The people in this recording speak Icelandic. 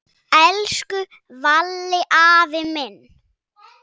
Elsku Valli afi minn.